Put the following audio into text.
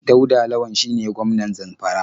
Dauda Lawal shine gwmanan Zamfara.